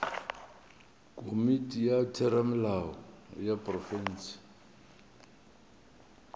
komiti ya theramelao ya profense